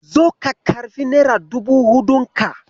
Zo ka karɓi nera dubu huɗun ka.